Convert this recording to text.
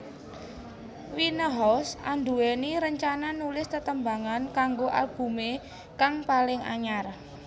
Winehouse anduwèni rencana nulis tetembangan kanggo albumé kang paling anyar